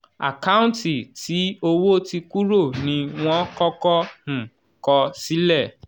àkáǹtì tí owó ti kúrò ní wọ́n kọ́kọ́ um kọ sílẹ̀.